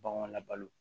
Baganw labalo